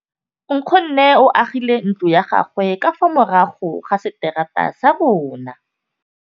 Nkgonne o agile ntlo ya gagwe ka fa morago ga seterata sa rona.